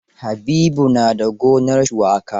Habibu na da gonar shuwaka.